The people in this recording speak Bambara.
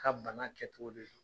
Ka bana kɛ cogo de don.